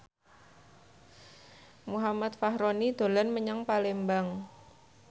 Muhammad Fachroni dolan menyang Palembang